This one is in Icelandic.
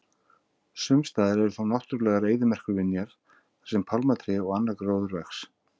Sumstaðar eru þó náttúrulegar eyðimerkurvinjar þar sem pálmatré og annar gróður vex.